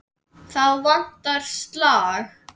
Þá vantar slag.